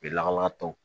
U be lakana tɔw